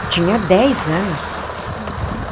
Eu tinha dez anos. Uhum.